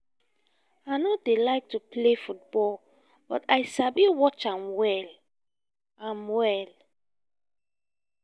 i no dey like to play football but i sabi watch am well am well